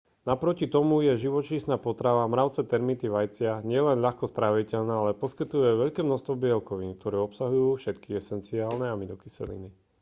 naproti tomu je živočíšna potrava mravce termity vajcia nielen ľahko stráviteľná ale poskytuje aj veľké množstvo bielkovín ktoré obsahujú všetky esenciálne aminokyseliny